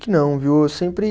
Não viu, eu sempre